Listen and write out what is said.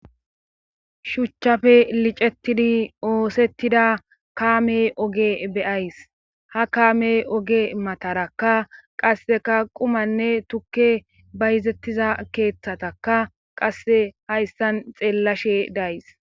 shuchchafe licettidi oosettida kaame oge be'ays ha kaame oge matarakka qasseka qumanne tukke bayzettiza keeththataka qasse hayssan xeellashe days